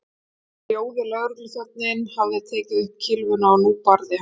En rjóði lögregluþjónninn hafði tekið upp kylfuna og nú barði hann